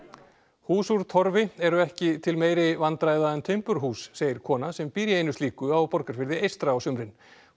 hús úr Torfi eru ekki til meiri vandræða en timburhús segir kona sem býr í einu slíku á Borgarfirði eystra á sumrin hún